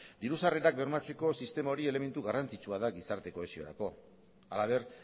diru sarrerak bermatzeko sistema hori elementu garrantzitsua da gizarte kohesiorako halaber